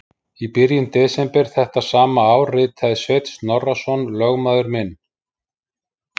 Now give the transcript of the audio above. Í byrjun desember þetta sama ár ritaði Sveinn Snorrason, lögmaður minn